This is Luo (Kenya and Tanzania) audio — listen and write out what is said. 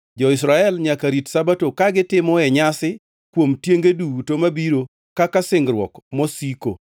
Jo-Israel nyaka rit Sabato ka gitimoe nyasi kuom tienge duto mabiro kaka singruok mosiko.